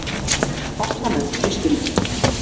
Fastanefnd Austurríki